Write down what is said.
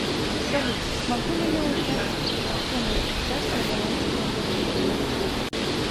салют могу ли я узнать сумму сейчас на балансе моего номинального счета